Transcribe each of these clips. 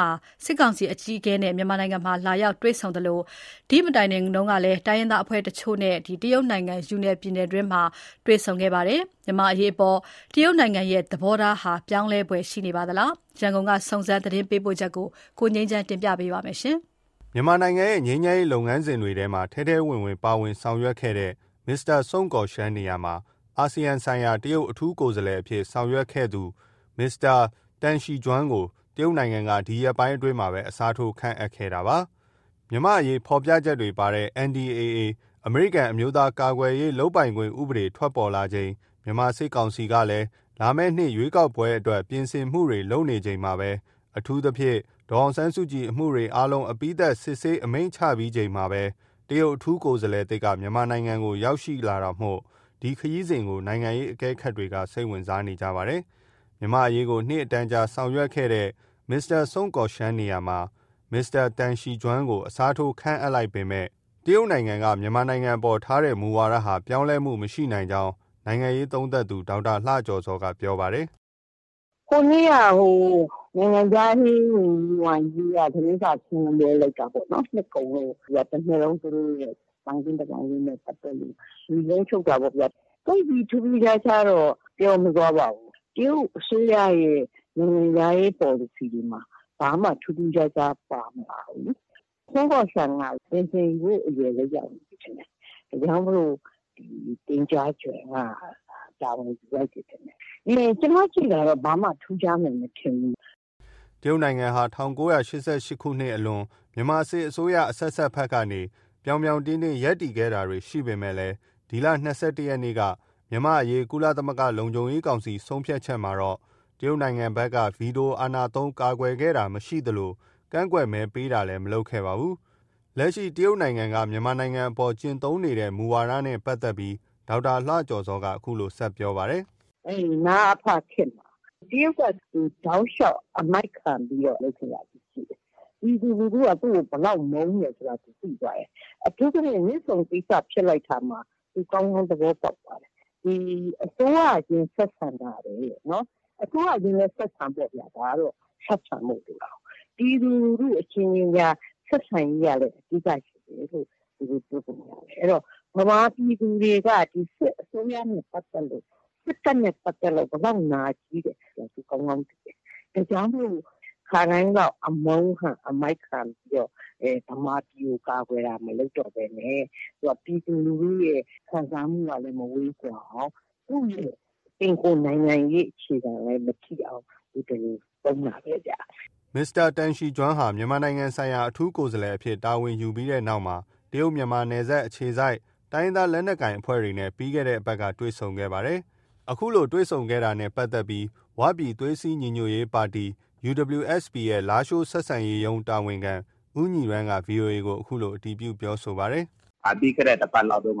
ဟာ စစ်ကောင်စီအကြီးအကဲနဲ့ မြန်မာနိုင်ငံလာရောက်တွေ့ဆုံသလို၊ ဒီမတိုင်ခင် တိုင်းရင်းသားအဖွဲ့တချို့နဲ့လည်း ယူနန်ပြည်နယ်တွင်းမှာတွေ့ဆုံခဲ့ပါတယ်။ ဒီအကြောင်း ရန်ကုန်က စုံစမ်းသတင်းပေးပို့ချက်ကို ကိုငြိမ်းချမ်းက တင်ပြပါမယ်။ မြန်မာနိုင်ငံရဲ့ ငြိမ်းချမ်းရေးလုပ်ငန်းစဉ်တွေမှာ ထဲထဲဝင်ဝင်ပါဝင်ဆောင်ရွက်ခဲ့တဲ့ မစ္စတာ Sun Guoxiang နေရာမှာ အာဆီယံဆိုင်ရာ တရုတ်အထူးကိုယ်စားလှယ်အဖြစ်ဆောင်ရွက်ခဲ့သူ မစ္စတာ Deng Xijun ကို တရုတ်နိင်ငံက ဒီရက်ပိုင်းအတွင်းပဲ အစားထိုး ခန့်အပ်ခဲ့တာပါ။ မြန်မာ့အရေးဖော်ပြချက်တွေပါတဲ့ NDAA အမေရိကန်အမျိုးသားကာကွယ်ရေးလုပ်ပိုင်ခွင့်ဥပဒေ ထွက်ပေါ်လာချိန်၊ မြန်မာစစ်ကောင်စီကလည်း လာမယ့်နှစ်ရွေးကောက်ပွဲအတွက် ပြင်ဆင်မှုတွေလုပ်နေချိန်၊ အထူးသဖြင့် ဒေါ်အောင်ဆန်းစုကြည်အမှုတွေအားလုံး အပြီးသတ်စစ်ဆေးအမိန့်ချချိန်မှာပဲ တရုတ်အထူးကိုယ်စားလှယ်သစ် မြန်မာနိုင်ငံကို ရောက်ရှိခဲ့တာမို့ ဒီခရီးစဉ်ကို နိုင်ငံရေးအကဲခတ်တွေက စိတ်ဝင်စားကြပါတယ်။ မြန်မာအရေးကို နှစ်ပေါင်းအတန်ကြာဆောင်ရွက်ခဲ့တဲ့ မစ္စတာ Sun Guoxiang နေရာမှာ မစ္စတာ Deng Xijun ကို အစားထိုး ခန့်အပ်လိုက်ပေမဲ့ တရုတ်နိုင်ငံက မြန်မာပြည်အပေါ် ထားတဲ့ မူဝါဒဟာ ပြောင်းလဲမှု မရှိနိုင်ကြောင်း နိုင်ငံရေးသုံးသပ်သူ ဒေါက်တာလှကျော်ဇောက ပြောပါတယ်။ “ ဟိုနေ့က ဟို နိုင်ငံခြားရေးဝန်ကြီး ဝမ်ယိက သတင်းစာရှင်းလင်းပွဲ လုပ်တာပေါ့။ နှစ်ကုန်လို့ တစ်နှစ်လုံး သူတို့ရဲ့ သံခင်းတမန်ခင်းနဲ့ပတ်သက်လို့ နိဂုံးချုပ်တာပေါ့ဗျာ။ သိပ်ပြီး ထူးထူးခြားခြားတော့ ပြောမသွားပါဘူး။ တရုတ်အစိုးရရဲ့ နိုင်ငံခြားရေးပေါ်လစီတွေမှာ ဘာမှ ထူးထူးခြားခြား ပါမလာဘူး။ Sun Guoxiang က ပင်စင်ယူဖို့ အရွယ်လည်း ရောက်နေပြီထင်တယ်။ ဒါကြောင့်မို့လို့ Deng Xijun က တာဝန်ယူလိုက်တယ်ထင်တယ်။ ကျမကြည့်တာတော့ ဘာမှ ထူးခြားမယ် မထင်ဘူး။ ” တရုတ်နိုင်ငံဟာ ၁၉၈၈ အလွန် မြန်မာစစ်အစိုးရအဆက်ဆက်ဖက်ကနေ ဗြောင်ဗြောင်တင်းတင်း ရပ်တည်တာတွေ ရှိခဲ့ပေမယ့်၊ ဒီလ ၂၁ရက်နေ့က မြန်မာ့အရေး ကုလသမဂ္ဂလုံခြုံရေးကောင်စီ ဆုံးဖြတ်ချက်မှာတော့ တရုတ်နိုင်ငံက ဗီတိုအာဏာသုံး ကာကွယ်တာမရှိသလို ကန့်ကွက်မဲပေးတာလည်း မလုပ်ခဲ့ပါဘူး။ လက်ရှိ တရုတ်နိုင်ငံက မြန်မာနိုင်ငံအပေါ် ကျင့်သုံးနေတဲ့ မူဝါဒနဲ့ ပတ်သက်ပြီး ဒေါက်တာလှကျော်ဇော်က အခုလို ဆက်ပြောပါတယ်။ “ အဲဒီ နအဖတွေ ခေတ်မှာ တရုတ်က သူ တောက်လျောက် အမိုက်ခံပြီး လုပ်ခဲ့တာတွေ ရှိတယ်။ ပြည်သူလူထုက သူ့ကို ဘယ်လောက်မုန်းတယ်ဆိုတာ သူသိသွားတယ်။ အထူးသဖြင့် မြစ်ဆုံကိစ္စ ဖြစ်လိုက်တာမှာ သူ ကောင်း ကောင်း သဘောပေါက်သွားတယ်။ ဒီ အစိုးရချင်း ဆက်ဆံတာထက်။ အစိုးရချင်းလည်း ဆက်ဆံပေါ့ဗျာ ဒါကတော့ ဆက်ဆံဖို့ လိုတာကိုး။ ပြည်သူလူထုအချင်းချင်းကြား ဆက်ဆံရေးကလည်း အဓိက ဖြစ်တယ်လို့ သူတို့ တွက်ပုံရတယ်။ အဲတော့ ဗမာပြည်သူတွေက ဒီ စစ်အစိုးရနဲ့ပတ်သက်လို့ စစ်တပ်နဲ့ပတ်သက်လို့ ဘယ်လောက် နာကျည်းတယ်။ သူ ကောင်းကောင်းသိတယ်။ ဒါကြောင့်မို့ ခါတိုင်းလောက် အမုန်းခံ အမိုက်ခံပြီးတော့ ဗမာပြည်ကို ကာကွယ်တာ မလုပ်တော့ဘဲနဲ့ ပြည်သူလူထုရဲ့ ခံစားမှုကလည်း မဝေးကွာအောင်။ သူ့ရဲ့ပင်ကိုယ်နိုင်ငံရေးအခြေခံလည်း မထိအောင် သူ ဒီလို သုံးတာပဲဗျ။ ” မစ္စတာ Deng Xijun ဟာ မြန်မာနိုင်ငံဆိုင်ရာ အထူးကိုယ်စားလှယ်အဖြစ်တာဝန်ယူပြီးနောက်မှာ တရုတ်- မြန်မာနယ်စပ်အခြေစိုက် တိုင်းရင်းသားလက်နက်ကိုင်အဖွဲ့တွေနဲ့ ပြီးခဲ့တဲ့အပတ်က တွေ့ဆုံခဲ့ပါတယ်။ ဒီလို တွေ့ဆုံတာနဲ့ပတ်သက်ပြီး ဝပြည်သွေးစည်းညီညွတ်ရေးပါတီ UWSP ရဲ့ လားရှိုးဆက်ဆံရေးရုံးတာဝန်ခံ ဦးညီရန်းက VOA ကို အခုလို အတည်ပြုပြောဆိုပါတယ်။ “ ပြီးခဲ့တဲ့တစ်ပတ်လောက်တုံးက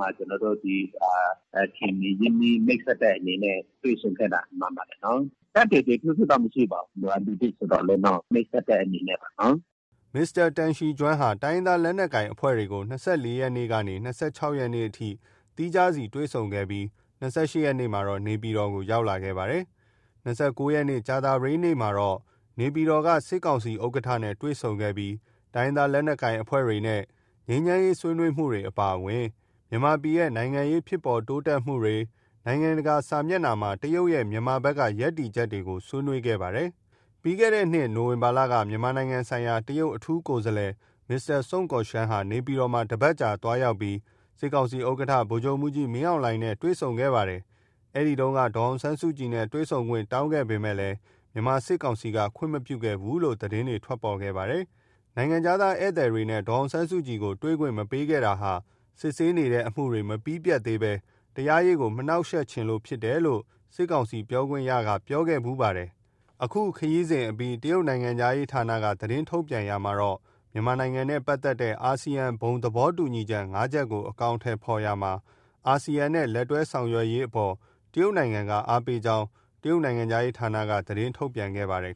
ခင်မင်းရင်းနှီးမိတ်ဆက်တဲ့အနေနဲ့ တွေ့ဆုံခဲ့တာမှန်ပါတယ်နော်။ ထွေထွေထူးထူးတော့ မရှိပါဘူး။ သူက လူသစ်ဆိုတော့လေ မိတ်ဆက်တဲ့အနေနဲ့ပါနော်။ ” မစ္စတာ Deng Xijun ဟာ တိုင်းရင်းသားလက်နက်ကိုင်အဖွဲ့တွေကို ၂၄ရက်နေ့ကနေ ၂၆ရက်နေ့အထိ သီးခြားစီ တွေ့ဆုံခဲ့ပြီး ၂၈ရက်နေ့မှာ နေပြည်တော်ကို ရောက်ရှိခဲ့ပါတယ်။ ၂၉ ရက်နေ့ ကြာသပတေးနေ့ကတော့ နေပြည်တော်မှာ စစ်ကောင်စီဥက္ကဌနဲ့ တွေ့ဆုံခဲ့ပြီး တိုင်းရင်းသား လက်နက်ကိုင်အဖွဲ့တွေနဲ့ ငြိမ်းချမ်းရေးဆွေးနွေးမှုတွေ အပါအဝင်၊ မြန်မာပြည်ရဲ့ နိုင်ငံရေး ဖြစ်ပေါ်တိုးတက်မှုတွေ၊ နိုင်ငံတကာမျက်နှာစာမှာ တရုတ်ရဲ့ မြန်မာဘက်က ရပ်တည်ချက်တွေကို ဆွေးနွေးခဲ့ပါတယ်။ လွန်ခဲ့တဲ့နှစ် နိုဝင်ဘာလက မြန်မာနိုင်ငံဆိုင်ရာ တရုတ်အထူးကိုယ်စားလှယ် မစ္စတာ Sun Guoxiang ဟာ နေပြည်တော်မှာ တပတ်ကြာသွားရောက်ပြီး စစ်ကောင်စီဥက္ကဌ ဗိုလ်ချုပ်မှုးကြီး မင်းအောင်လှိုင်နဲ့ တွေ့ဆုံခဲ့ပါတယ်။ အဲဒီတုန်းက ဒေါ်အောင်ဆန်းစုကြည်နဲ့ တွေ့ဆုံခွင့်တောင်းပေးမယ့်၊ မြန်မာစစ်ကောင်စီက ခွင့်မပြုခဲ့ဘူးလို့ သတင်းတွေထွက်ခဲ့ပါတယ်။ နိုင်ငံခြားဧည်သည်တွေနဲ့ ဒေါ်စုကို တွေ့ခွင့်မပေးခဲ့တာဟာ စစ်ဆေးနေတဲ့အမှုတွေမပြီးပြတ်သေးပဲ တရားရေးကို မနှောက်ယှက်ချင်လို့ဖြစ်တယ်လို့ စစ်ကောင်စီ ပြောခွင့်ရသူက ပြောခဲ့ဖူးပါတယ်။ အခု ခရီးစဉ်အပြီးမှာ တရုတ်နိုင်ငံခြားရေးဌာနက သတင်းထုတ်ပြန်ရာမှာတော့ မြန်မာ့နိုင်ငံပတ်သက်တဲ့ အာဆီယံဘုံသဘောတူညီချက် ၅ ချက်ကို အကောင်အထည်ဖော်ရာမှာ အာဆီယံနဲ့ လက်တွဲဆောင်ရွက်ရေးအပေါ် တရုတ်နိုင်ငံက အားပေးကြောင်း တရုတ်နိုင်ငံခြားရေးဌာနက သတင်းထုတ်ပြန်ခဲ့ပါတယ်